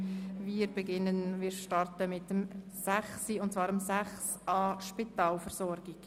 Wir beginnen mit dem Themenblock 6.a Spitalversorgung.